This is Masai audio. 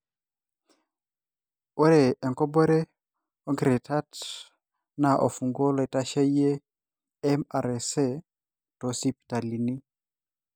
Ore enkobore onkiritat na ofunguo loitasheyie MRSA tosipitalini.